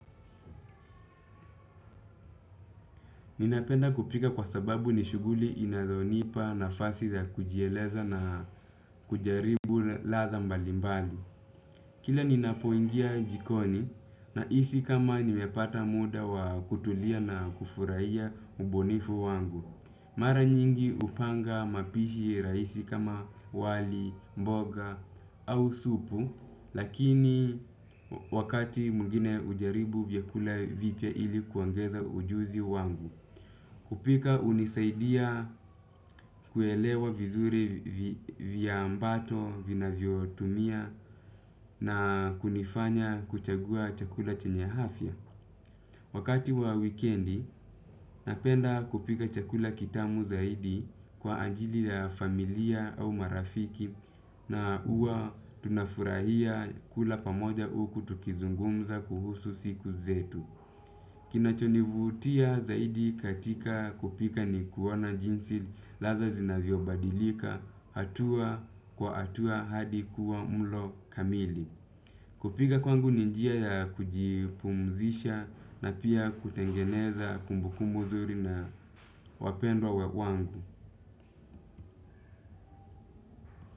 Ninapenda kupika kwa sababu ni shughuli inayonipa nafasi za kujieleza na kujaribu ladha mbalimbali. Kila ninapoingia jikoni na hisi kama nimepata muda wa kutulia na kufurahia ubunifu wangu. Mara nyingi hupanga mapishi rahisi kama wali, mboga au supu. Lakini wakati mwingine hujaribu vyakula vipya ili kuongeza ujuzi wangu. Kupika hunisaidia kuelewa vizuri viambato vinavyo tumia na kunifanya kuchagua chakula chenya afya. Wakati wa wikendi napenda kupika chakula kitamu zaidi kwa ajili ya familia au marafiki na huwa tunafurahia kula pamoja huku tukizungumza kuhusu siku zetu. Kinacho ni vutia zaidi katika kupika ni kuoana jinsi ladha zinavyobadilika hatua kwa hatua hadi kuwa mlo kamili. Kupika kwangu ni njia ya kujipumzisha na pia kutengeneza kumbukumbu nzuri na wapendwa wangu.